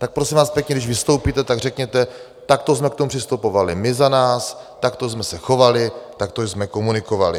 Tak prosím vás pěkně, když vystoupíte, tak řekněte: Takto jsme k tomu přistupovali my za nás, takto jsme se chovali, takto jsme komunikovali.